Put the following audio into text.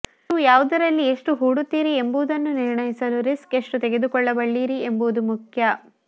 ನೀವು ಯಾವುದರಲ್ಲಿ ಎಷ್ಟು ಹೂಡುತ್ತೀರಿ ಎಂಬುದನ್ನು ನಿರ್ಣಯಿಸಲು ರಿಸ್ಕ್ ಎಷ್ಟು ತೆಗೆದುಕೊಳ್ಳಬಲ್ಲಿರಿ ಎಂಬುದು ಮುಖ್ಯ